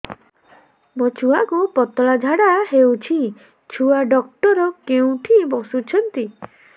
ମୋ ଛୁଆକୁ ପତଳା ଝାଡ଼ା ହେଉଛି ଛୁଆ ଡକ୍ଟର କେଉଁଠି ବସୁଛନ୍ତି